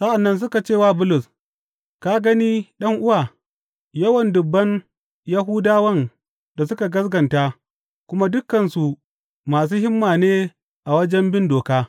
Sa’an nan suka ce wa Bulus, Ka gani ɗan’uwa, yawan dubban Yahudawan da suka gaskata, kuma dukansu masu himma ne a wajen bin doka.